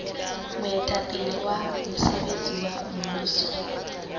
moetapele wa mosebetsi wa mmuso